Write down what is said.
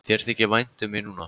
Þér þykir vænt um mig núna.